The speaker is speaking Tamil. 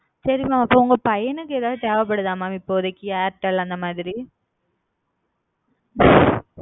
okay mam உங்க பயனுக்கு இப்போதைக்கு எத்தனை தேவ படுத்த artel இல்ல mam